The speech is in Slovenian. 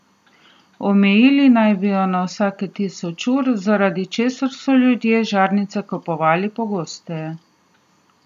Omejili naj bi jo na vsega tisoč ur, zaradi česar so ljudje žarnice kupovali pogosteje.